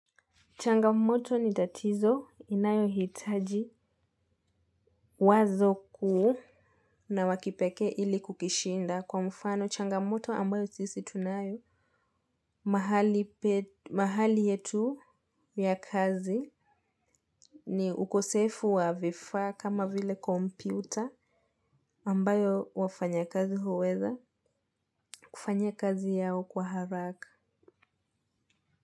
Changamoto ni tatizo inayo hitaji wazo kuu na wakipeke ili kukishinda kwa mfano changamoto ambayo sisi tunayo. Mahali yetu ya kazi ni ukosefu wa vifaa kama vile kompyuta ambayo wafanya kazi huweza kufanya kazi yao kwa haraka.